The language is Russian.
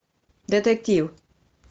детектив